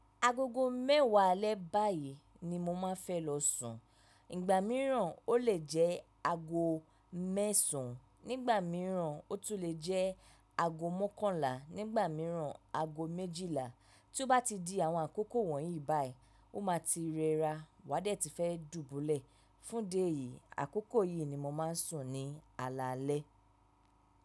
Agogo mẹ́wàá alẹ́ báyìí ni mo máa fẹ́ lọ sùn. Ìgbà mìíràn ó lè jẹ́ aago mẹ́sàn án, nígbà mìíràn ó tún lè jẹ́ aago mọ́kànlá, nígbà mìíràn aago méjìlá. Tí ó bá ti di àwọn àkókò wọ̀nyí báyìí, ó máa ti rẹra. Wá dé tí fẹ́ dùbúlẹ̀. Fún idi eyìí, àkókò yìí ni mo máa ń sùn ní alaalẹ́.